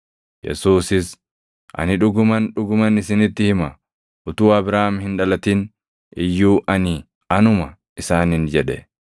Yesuusis, “Ani dhuguman, dhuguman isinitti hima; utuu Abrahaam hin dhalatin iyyuu ani anuma” isaaniin jedhe.